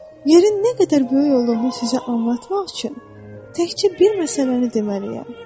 Yerin nə qədər böyük olduğunu sizə anlatmaq üçün təkcə bir məsələni deməliyəm.